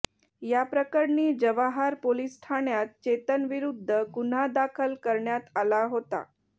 याप्रकरणी जव्हार पोलिस ठाण्यात चेतनविरुद्ध गुन्हा दाखल करण्यात आला होता